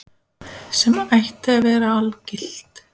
Sem ætti að vera algilt.